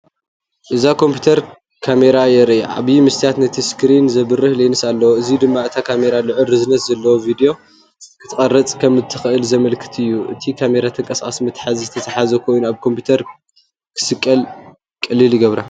እዛ ኮምፒተር ካሜራ የርኢ። ዓቢ መስትያትን ነቲ ስክሪን ዘብርህ ሌንስን ኣለዎ። እዚ ድማ እታ ካሜራ ልዑል ርዝነት ዘለዎ ቪድዮ ክትቀርጽ ከም እትኽእል ዘመልክት እዩ። እታ ካሜራ ተንቀሳቓሲ መትሓዚ ዝተተሓሓዘት ኮይና ኣብ ኮምፒተር ክትስቀል ቀሊል ይገብራ።